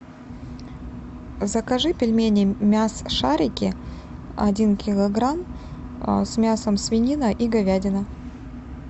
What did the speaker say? закажи пельмени мясшарики один килограмм с мясом свинина и говядина